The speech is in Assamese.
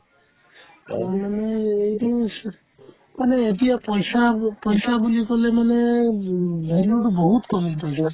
আজিকালি এইটো হৈছে মানে এতিয়া পইচাক পইচা বুলি ক'লে মানে উম value তো বহুত কমিল পইচাৰ